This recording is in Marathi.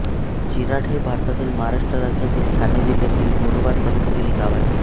चिराड हे भारतातील महाराष्ट्र राज्यातील ठाणे जिल्ह्यातील मुरबाड तालुक्यातील एक गाव आहे